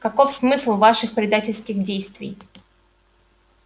каков смысл ваших предательских действий